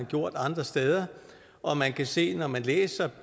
gjort andre steder og man kan se når man læser